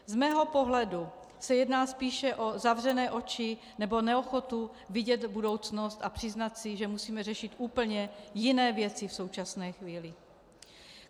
Z mého pohledu se jedná spíše o zavřené oči nebo neochotu vidět budoucnost a přiznat si, že musíme řešit úplně jiné věci v současné chvíli.